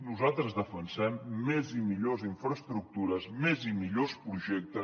nosaltres defensem més i millors infraestructures més i millors projectes